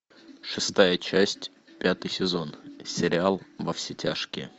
шестая часть пятый сезон сериал во все тяжкие